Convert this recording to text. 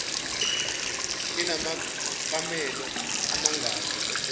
inamakamelo amangaki esewonke